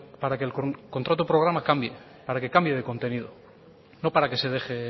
para que el contrato programa cambie para que cambie de contenido no para que se deje